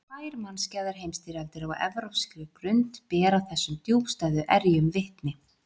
Tvær mannskæðar heimsstyrjaldir á evrópskri grund bera þessum djúpstæðu erjum vitni.